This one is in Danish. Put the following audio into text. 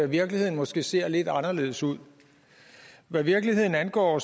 virkeligheden måske ser lidt anderledes ud hvad virkeligheden angår